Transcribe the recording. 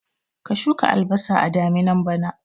Ka shuka albasa a daminan bana